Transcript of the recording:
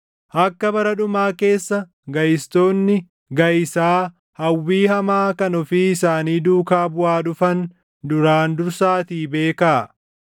Akka bara dhumaa keessa gaʼistoonni gaʼisaa hawwii hamaa kan ofii isaanii duukaa buʼaa dhufan duraan dursaatii beekaa.